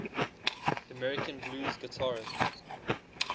american blues guitarists